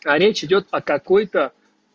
а речь идёт о какой-то